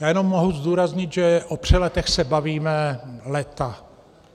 Já jenom můžu zdůraznit, že o přeletech se bavíme léta.